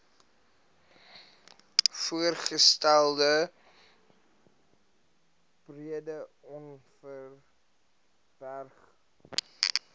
voorgestelde breedeoverberg oba